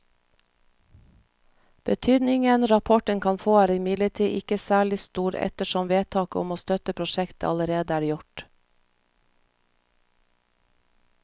Betydningen rapporten kan få er imidlertid ikke særlig stor ettersom vedtaket om å støtte prosjektet allerede er gjort.